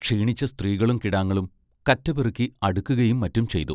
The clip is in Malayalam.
ക്ഷീണിച്ച സ്ത്രീകളും കിടാങ്ങളും കറ്റ പെറുക്കി അടുക്കുകയും മറ്റും ചെയ്തു.